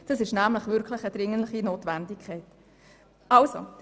Dies ist eine dringliche Notwendigkeit.